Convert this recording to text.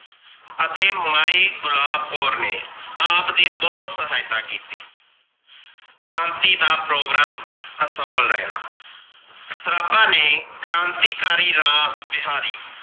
ਅਤੇ ਮਾਈ ਗੁਲਾਬ ਕੌਰ ਨੇ ਆਪ ਦੀ ਬੋਹਤ ਸਹਾਇਤਾ ਕੀਤੀ । ਕ੍ਰਾਂਤੀ ਦਾ ਪ੍ਰੋਗਰਾਮ ਅਸਫਲ ਰਹਿਣਾ। ਸਰਾਬਾ ਨੇ ਕ੍ਰਾਂਤੀ ਕਾਰੀ ਰਾਸ ਬਿਹਾਰੀ